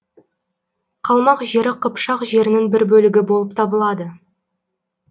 қалмақ жері қыпшақ жерінің бір бөлігі болып табылады